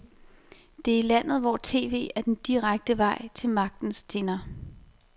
Det er landet, hvor tv er den direkte vej til magtens tinder.